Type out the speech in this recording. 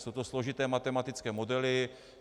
Jsou to složité matematické modely.